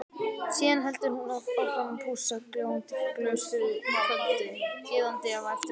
Síðan heldur hún áfram að pússa gljáandi glös fyrir kvöldið, iðandi af eftirvæntingu.